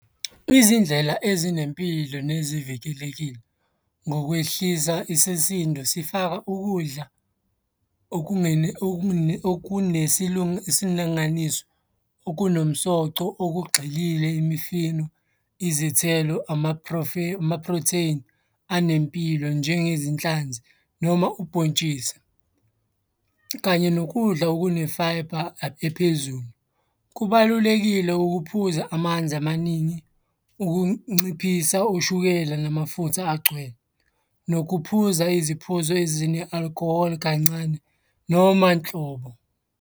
Izindlela ezinempilo nezivikelekile ngokwehlisa isisindo sifaka ukudla . Okunomsoco, okugxilile imifino, izithelo, ama-protein anempilo njengezinhlanzi noma ubhontshisi kanye nokudla okune-fibre ephezulu. Kubalulekile ukuphuza amanzi amaningi, ukunciphisa ushukela namafutha agcwele. Nokuphuza iziphuzo ezine-alcohol kancane noma nhlobo.